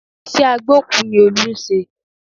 Iṣẹ́ agbókùú ni Olú ń ṣe